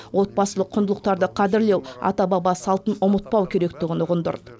отбасылық құндылықтарды қадірлеу ата баба салтын ұмытпау керектігін ұғындырды